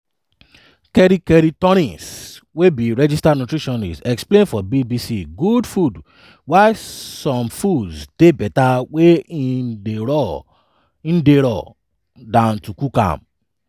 kerry kerry torrens wey be registered nutritionist explain for bbc good food why some foods dey beta wen e dey raw dan to cook dem.